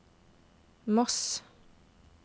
Moss